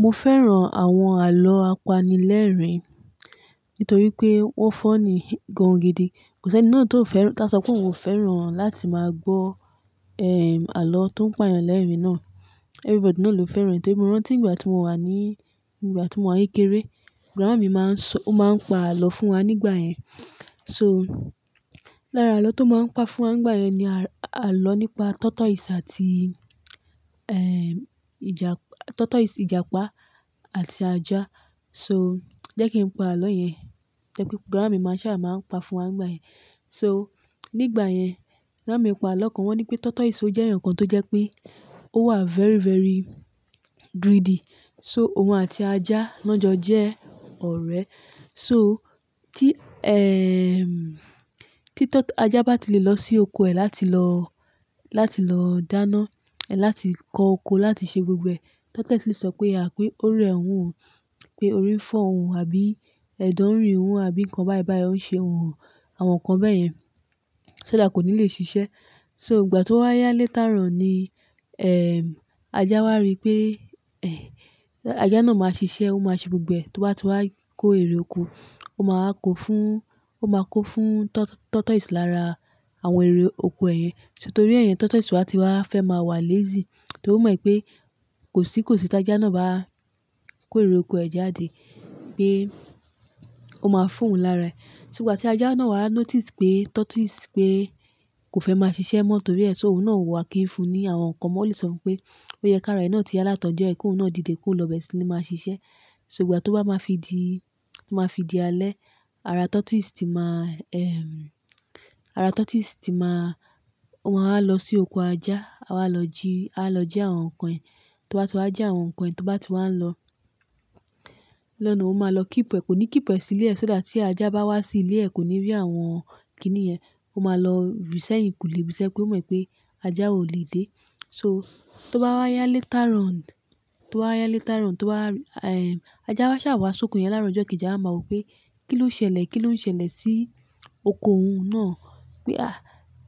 Mo fẹ́ràn àwọn àlọ́ apanilẹ́rìn nítorí pé wọ́n fúnni gan gidi. Kò sí ẹni náà tó fẹ́ràn, tá sọ pé òun ò fẹ́ràn láti máa gbọ́, ehm, àlọ́ tó ń pani lẹ́rìn náà. Everybody náà ló fẹ́ràn. Torí mo rántí ìgbà tí mo wà ní, ìgbà tí mo wà kékeré, grán mi máa ń sọ-- ó máa ń pa àlọ́ fún wa nígbà yẹn. So, lára àlọ́ tó máa ń pa fún wa nígbà yẹn ni àlọ́ nípa tortoise àti, ehm, ìjà-- tortoise, Ìjàpá àti ajá. So, jẹ́ kí n pa àlọ́ yẹn. Jẹ́ pé grán mi máa ṣà máa ń pa fún wa nígbà yẹn. So, nígbà yẹn, grán mi pa àlọ́ kan wọ́n ní pé tortoise ò jẹ́ èèyàn kan tó jẹ́ pé ó wà very, very greedy. So, òun àti ajá náà jọ jẹ́ ọ̀rẹ́. So, tí, ehm, tí tọ-- ajá bá ti lè lọ sí oko ẹ̀ láti lọ, láti lọ dáná, ẹ̀ láti kó oko, láti ṣe gbogbo ẹ̀, tortoise lè sọ pé, àpé ó rí ẹ̀wọ̀n, pé orí ń fọ́ òun, àbí ẹ̀dọ̀ ń rìn wọ̀n, àbí nǹkan báìbàí ó ń ṣe òun. Àwọn nǹkan bẹ́ẹ̀ yẹn ṣó dà kò ní lè ṣiṣẹ́. So, ìgbà tó wá yá létárùn ni, ehm, ajá wá rí pé, eh, ajá náà máa ṣiṣẹ́, ó máa ṣe gbogbo ẹ̀, tó bá ti wá kó èrè oko, ó máa kó fún, ó máa kó fún tort-tortoise lára àwọn èrè oko ẹ̀ yẹn. Nítorí ẹ̀yẹn, tortoise wá ti wá fẹ́ máa wà lazy. Torí ó mọ̀ pé kò sí, kò sí tí ajá náà bá kó èrè oko ẹ̀ jáde pé ó máa fún òun lára ẹ̀. Ti ìgbà tí ajá náà wá notice pé tortoise pé kò fẹ́ máa ṣiṣẹ́ mọ́ torí ẹ́ ṣó òun náà wùwà kí nfun ní àwọn nǹkan mọ́ lè sọ pé ó yẹ kí ara ẹ̀ náà ti alátọ̀jọ́ ẹ̀ kí òun náà dìde kó lọ bẹ́ẹ̀ ṣí lè máa ṣiṣẹ́. So, ìgbà tí ó bá máa fi di, tí ó máa fi di alẹ́, ara tortoise ti máa, ehm, ara tortoise ti máa wá lọ sí oko ajá, wá lọ ji, wá lọ ji àwọn nǹkan ẹ̀. Tó bá ti wá jí àwọn nǹkan ẹ̀, tó bá ti wá lọ lọ́nà, ó máa lọ kíp ẹ̀, kò ní kíp ẹ̀ sílé ẹ̀ ṣó dà tí ajá bá wá sí ilé ẹ̀ kò ní rí àwọn kíni yẹn. Ó máa lọ r'isẹ́yìn kùlé, bísẹ́ pé ó mọ̀ pé ajá ò lè dé. So, tó bá wá yá létárùn, tó bá wá yá létárùn, tó bá, ehm, ajá bá ṣà wá sóko yẹn láàárọ̀ ọjọ́ kejì awa máa wọ̀ pé kí ló ṣẹlẹ̀, kí ló ń ṣẹlẹ̀ sí oko òun náà. Pé à,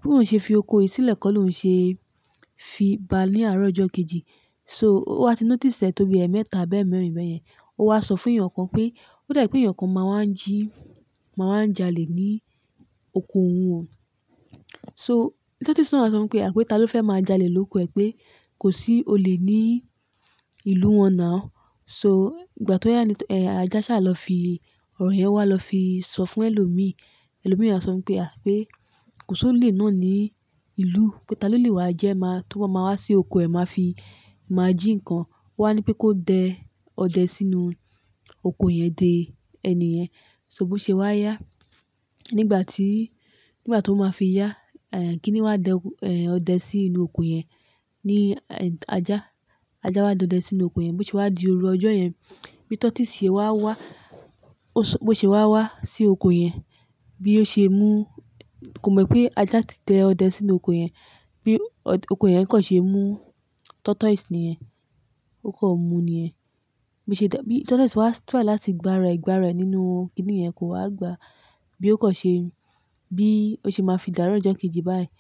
bí òun ṣe fi oko yìí sílẹ̀ kọ́ ló ń ṣe fi bá a ní àárọ̀ ọjọ́ kejì. So, ó wá ti notice ẹ̀ tó bí ẹ̀ mẹ́ta àbẹ́ mẹ́rin bẹ́ẹ̀ yẹn. Ó wá sọ fún èèyàn kan pé ó dà ẹ́ pé èèyàn kan máa wá ń jí, máa wá ń jalè ní oko òun o. So, tortoise náà sọ pé àpé ta ló fẹ́ máa jalè lóko ẹ̀ pé kò sí olè ní ìlú wọn náà. So, ìgbà tó yá ní, eh, ajá ṣà lọ fi ọ̀rọ̀ yẹn wá lọ fi sọ fún ẹlòmíí. Ẹlòmíí náà sọ pé àpé kò sí olè náà ní ìlú, pé ta ló lè wá jẹ́ máa tó bá máa wá sí oko ẹ̀ máa fi máa jí ǹkan. Wowa ní pé kó dẹ ọdẹ sínú oko ẹ̀ dé ẹni yẹn. So bó ṣe wá yá nígbà tí, nígbà tó máa fi yá, eh, kí ni wá dẹ, eh, ọdẹ sínú oko ẹ̀ ní ajá. Ajá wá dẹ ọdẹ sínú oko ẹ̀. Bó ṣe wá di òru ọjọ́ yẹn, bí tortoise ṣe wá wá, ó sọ-- bó ṣe wá wá sí oko ẹ̀ yẹn, bí ó ṣe mú-- kò mọ̀ pé ajá ti dẹ ọdẹ sínú oko ẹ̀ yẹn. Bí ọ-- oko ẹ̀ yẹn kọ̀ ṣe mú tortoise nìyẹn, ó kọ̀ mú nìyẹn. Bí ṣe dá-- bí tortoise wá tri láti gbá ara ẹ̀, gbá ara ẹ̀ nínú kíni yẹn kò wá gba. Bí ó kọ̀ ṣe, bí ó ṣe máa fi dàárọ̀ ọjọ́ kejì báyìí,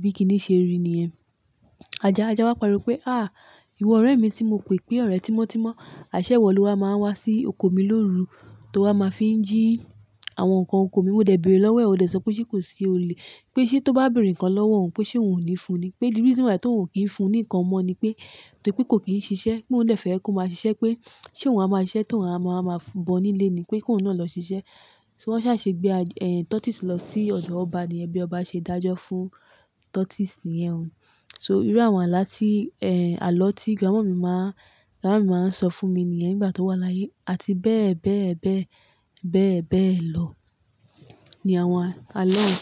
bí kíni ṣe rí nìyẹn. Ajá, ajá wá pariwo pé à, ìwọ ọ̀rẹ́ mi tí mo pè pé ọ̀rẹ́ tímọ́tímọ́, àṣẹ iwo lowa máa wá sí oko mi lóru tó wá máa fi ń jí àwọn nǹkan oko mi. Mo dẹ̀ bẹ̀rẹ̀ lọ́wọ́ ẹ̀, o dẹ̀ sọ pé ṣé kò sí olè, pé ṣé tó bá bẹ̀rẹ̀ ǹkan lọ́wọ́ òun pé ṣé òun ò ní fún ni. Pé the reason why tó ò kí nfun nìkan mọ́ ni pé torí pé kò kí n ṣiṣẹ́. Pé mò ń dẹ̀ fẹ́ ẹ́ kó máa ṣiṣẹ́ pé ṣé òun á máa ṣiṣẹ́ tó òun á máa, máa bọ nílé ni. Pé kó òun náà lọ ṣiṣẹ́. So wọ́n ṣà ṣe gbé a, eh, tortoise lọ sí ọdò ọba nìyẹn bí ọba ṣe dájọ́ fún tortoise nìyẹn. So, irú àwọn aláti, eh, àlọ́ tí gránmọ̀mi máa, gránmọ̀mi máa ń sọ fún mi nìyẹn nígbà tó wà láyé àti bẹ́ẹ̀, bẹ́ẹ̀, bẹ́ẹ̀, bẹ́ẹ̀, bẹ́ẹ̀ lọ ni àwọn àlọ́ náà.